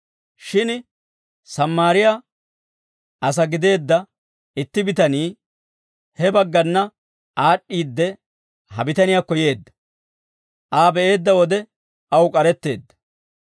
Shin Sammaariyaa asaa gideedda itti bitanii, he baggana aad'd'iidde, ha bitaniyaakko yeedda. Aa be'eedda wode aw k'aretteedda.